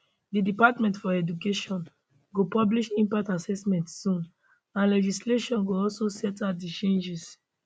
di department for education go publish impact assessment soon and legislation go also set out di changes